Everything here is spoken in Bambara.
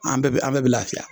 An bɛɛ bɛ an bɛɛ bɛ lafiya